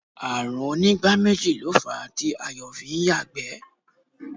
Ààrùn onígbáméjì méjì ló fàá tí Ayọ̀ fi ń yàgbẹ́